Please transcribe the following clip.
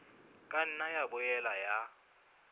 ka nna ya boela ya